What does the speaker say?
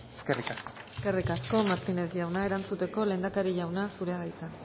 eskerrik asko eskerrik asko martínez jauna erantzuteko lehendakari jauna zurea da hitza